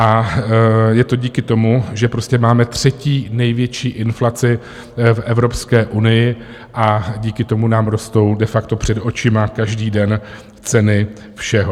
A je to díky tomu, že prostě máme třetí největší inflaci v Evropské unii ,a díky tomu nám rostou de facto před očima každý den ceny všeho.